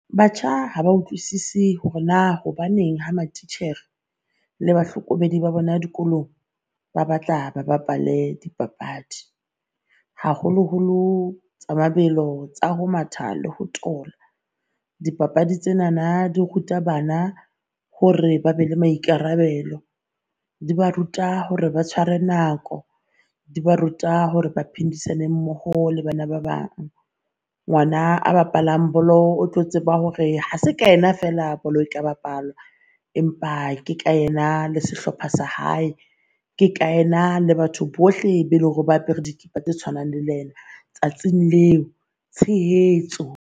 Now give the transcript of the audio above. Batjha ha ba utlwisisi hore naa hobaneng ha matitjhere le bahlokomedi ba bona dikolong ba batla ba bapale dipapadi, haholo holo tsa mabelo, tsa ho matha, le ho thola. Dipapadi tsenana di ruta bana hore ba be le maikarabelo, di ba ruta hore ba tshware nako, di ba ruta hore ba phedisane mmoho le bana ba bang. Ngwana a bapalang bolo o tlo tseba hore ha se ka yena feela bolo e ka bapalwa, empa ke ka yena le sehlopha sa hae. Ke ka yena le batho bohle be leng hore ba apere dikipa tse tshwanang le yena tsatsing leo tshehetso.